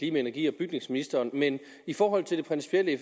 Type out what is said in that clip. energi og bygningsministeren men i forhold til det principielle